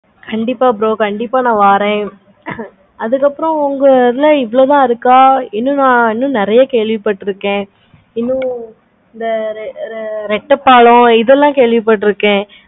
கண்டிப்பா bro கண்டிப்பா நா வரேன். அதுக்கு அப்பறம் உங்க இதுல இவ்வளோ தான் இருக்க இன்னுமா இன்னு நெறைய கேள்வி பாத்துருக்கேன். இன்னு இந்த ரெண்டு ரெட்டை பாலம் இதெல்லாம் கேள்வி பாத்துருக்கேன்.